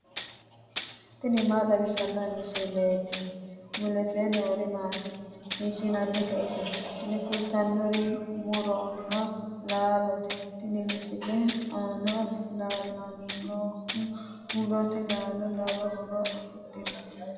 tini maa xawissanno misileeti ? mulese noori maati ? hiissinannite ise ? tini kultannori muronna laalote. tini misilete aana leellannohu murote laalo lowo horo afidhino.